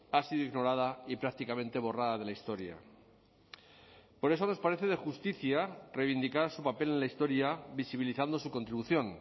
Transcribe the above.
ha sido ignorada y prácticamente borrada de la historia por eso nos parece de justicia reivindicar su papel en la historia visibilizando su contribución